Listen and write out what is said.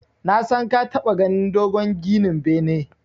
Nasan ka taɓa ganin dogon ginin bene.